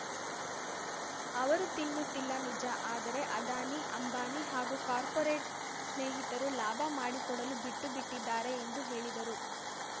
ಅವರು ತಿನ್ನುತ್ತಿಲ್ಲ ನಿಜ ಆದರೆ ಅದಾನಿ ಅಂಬಾನಿ ಹಾಗೂ ಕಾರ್ಪೋರೆಟ್‌ ಸ್ನೇಹಿತರು ಲಾಭ ಮಾಡಿಕೊಡಲು ಬಿಟ್ಟುಬಿಟ್ಟಿದ್ದಾರೆ ಎಂದು ಹೇಳಿದರು